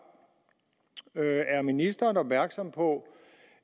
er ministeren opmærksom på